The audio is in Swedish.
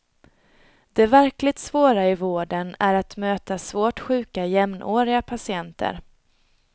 Det verkligt svåra i vården är att möta svårt sjuka jämnåriga patienter.